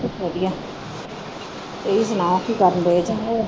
ਵਧੀਆ ਤੁਸੀ ਸੁਣਾਓ ਕੀ ਕਰਨ ਦੇ ਜੇ